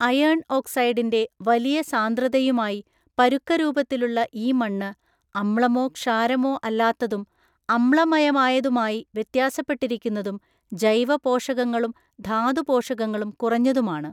Iron ഓക്സൈഡിൻ്റെ വലിയ സാന്ദ്രതയുമായി പരുക്കരൂപത്തിലുള്ള ഈ മണ്ണ് അമ്ലമോ ക്ഷാരമോ അല്ലാത്തതും അമ്ലമയമായതുമായി വ്യത്യാസപ്പെട്ടിരിക്കുന്നതും ജൈവ പോഷകങ്ങളും ധാതു പോഷകങ്ങളും കുറഞ്ഞതുമാണ്.